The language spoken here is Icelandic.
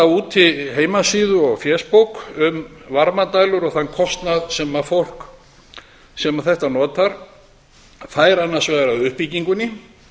úti heimasíðu og fésbók um varmadælur og þann kostnað sem fólk þetta notar fær annars vegar af uppbyggingunni